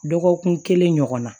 Dɔgɔkun kelen ɲɔgɔnna